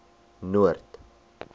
noord